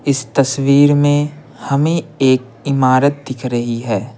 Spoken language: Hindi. इस तस्वीर में हमें एक इमारत दिख रही है।